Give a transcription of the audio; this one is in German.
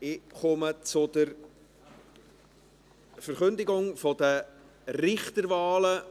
Ich komme zur Verkündigung der Richterwahlen.